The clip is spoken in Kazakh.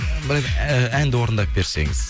бір әнді орындап берсеңіз